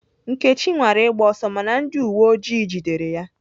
Nkechi nwara ịgba ọsọ mana ndị uwe ojii jidere ya.